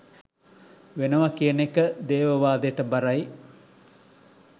වෙනව කියන එක දේවවාදෙට බරයි